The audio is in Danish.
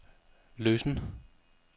løsen